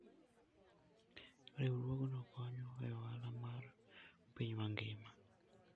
Riwruogno konyo e ohala mar piny mangima.